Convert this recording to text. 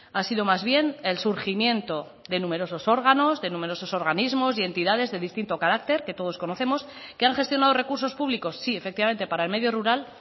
ha sido más bien el surgimiento de numerosos órganos de numerosos organismos y entidades de distinto carácter que todos conocemos que han gestionado recursos públicos sí efectivamente para el medio rural